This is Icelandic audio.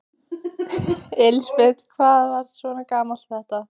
Elísabet: Hvað er svona gaman við þetta?